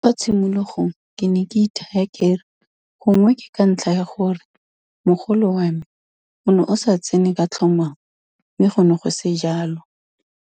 Kwa tshimologong ke ne ke ithaya ke re gongwe ke ka ntlha ya gore mogolo wa me o ne o sa tsene ka tlhomamo, mme go ne go se jalo.